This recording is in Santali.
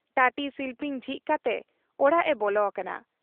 ᱴᱟᱹᱴᱤ ᱥᱤᱞᱯᱤᱧ ᱡᱷᱤᱡ ᱠᱟᱛᱮ ᱚᱲᱟᱜ ᱮ ᱵᱚᱞᱚ ᱟᱠᱟᱱᱟ ᱾